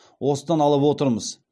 осыдан алып отырмыз